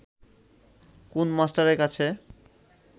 কুন মাস্টারের কাছে